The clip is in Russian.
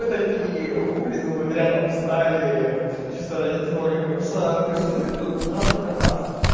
мы такие хули думают рядом встали чисто ради троллинга просто прессуют меллиционеры только нас